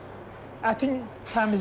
Ətin təmizdir.